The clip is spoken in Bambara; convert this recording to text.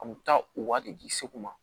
A kun bɛ taa u wari de di segu ma